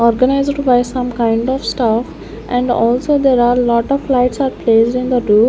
Organized by some kind of stuff and also there are lot of lights are placed in the roo --